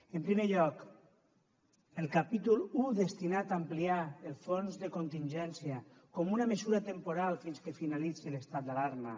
en primer lloc el capítol un destinat a ampliar el fons de contingència com una mesura temporal fins que finalitzi l’estat d’alarma